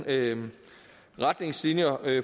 er en anden retningslinjer